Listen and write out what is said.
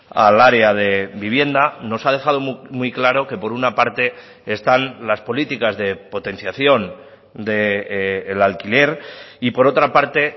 al área de vivienda nos ha dejado muy claro que por una parte están las políticas de potenciación del alquiler y por otra parte